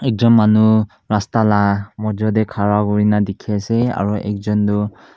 ekjont manu rasta mojot te khara kori kina dekhi ase aru ekjont tu--